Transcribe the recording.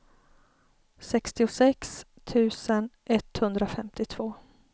sextiosex tusen etthundrafemtiotvå